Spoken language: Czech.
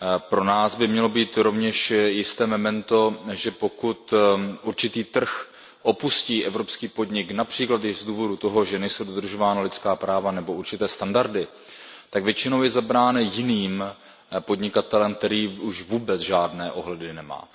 Pro nás by mělo být rovněž jisté memento, že pokud určitý trh opustí evropský podnik, například i z důvodu toho, že nejsou dodržována lidská práva nebo určité standardy, tak většinou je zabrán jiným podnikatelem, který už vůbec žádné ohledy nemá.